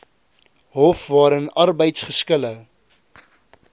hof waarin arbeidsgeskille